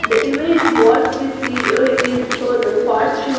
The image what we see here is a the fortune --